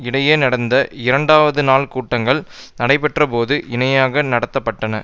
இடையே நடந்த இரண்டாவது நாள் கூட்டங்கள் நடைபெற்றபோது இணையாக நடத்த பட்டன